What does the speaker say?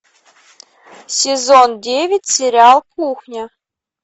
сезон девять сериал кухня